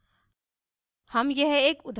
static function